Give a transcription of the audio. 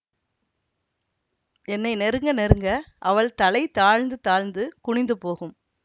என்னை நெருங்க நெருங்க அவள் தலை தாழ்ந்து தாழ்ந்து குனிந்து போகும்